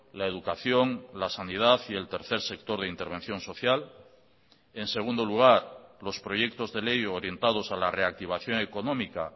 la educación la sanidad y el tercer sector de intervención social en segundo lugar los proyectos de ley orientados a la reactivación económica